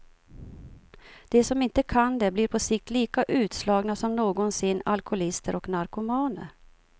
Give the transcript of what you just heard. De som inte kan det blir på sikt lika utslagna som någonsin alkoholister och narkomaner.